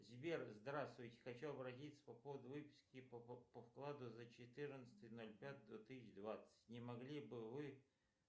сбер здравствуйте хочу обратиться по поводу выписки по вкладу за четырнадцатое ноль пятое две тысячи двадцать не могли бы вы